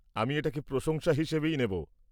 আমি এটাকে প্রশংসা হিসেবে নেব।